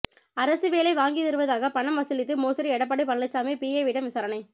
அரசு வேலை வாங்கி தருவதாக பணம் வசூலித்து மோசடி எடப்பாடி பழனிசாமி பிஏவிடம் விசாரணை